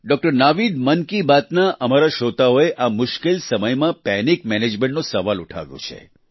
doctor Naveed Mann Ki Baat ના અમારા શ્રોતાઓએ આ મુશ્કેલ સમયમા પેનિક મેનેજમેન્ટનો સવાલ ઉઠાવ્યો છે